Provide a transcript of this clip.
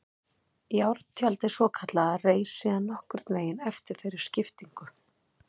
Járntjaldið svokallaða reis síðan nokkurn veginn eftir þeirri skiptingu.